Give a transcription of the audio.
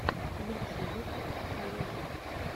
лучший выпуск олежэ